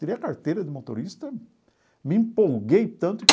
Tirei a carteira de motorista, me empolguei tanto que